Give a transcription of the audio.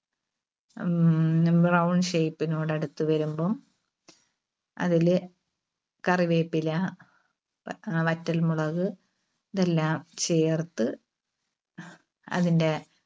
അഹ് ഉം brown shape നോട് അടുത്ത് വരുമ്പും അതില് കറിവേപ്പില, വ~വറ്റൽമുളക് ഇതെല്ലാം ചേർത്ത് അതിന്റെ